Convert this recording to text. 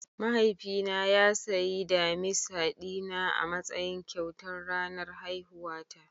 Mahaifina ya sayi damisa dina a matsayin kyautar ranar haihuwata.